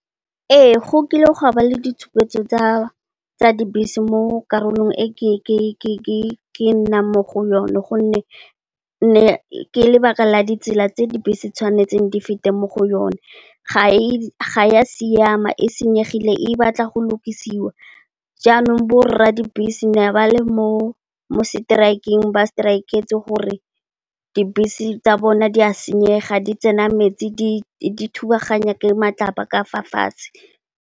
Ee go kile gwa ba le ditshupetso tsa dibese mo karolong e ke nnang mo go yone gonne, ke lebaka la ditsela tse dibese tshwanetseng di fete mo go yone ga e ya siama, e senyegile, e batla go lokisiwa jaanong, bo rra dibese ne ba le mo seteraekeng, ba seteraeketse gore dibese tsa bone di a senyega di tsena metsi, di thubaganya ke matlapa ka fa fatshe.